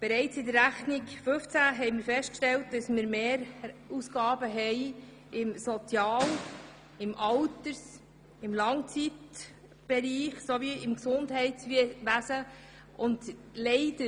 Bereits in der Rechnung 2015 stellten wir fest, dass wir im Sozial-, im Alters-, und im Langzeitpflegebereich sowie im Gesundheitswesen Mehrausgaben hatten.